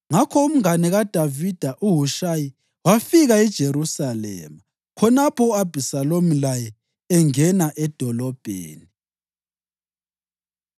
Ngakho umngane kaDavida uHushayi wafika eJerusalema khonapho u-Abhisalomu laye engena edolobheni.